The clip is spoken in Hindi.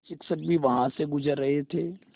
शिक्षक भी वहाँ से गुज़र रहे थे